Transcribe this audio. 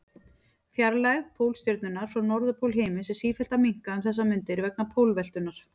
Fjarlægð Pólstjörnunnar frá norðurpól himins er sífellt að minnka um þessar mundir vegna pólveltunnar.